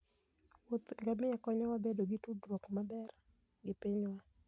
wuoth ngamia konyowa bedo gi tudruok maber gi pinywa